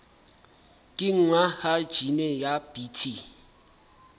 kenngwa ha jine ya bt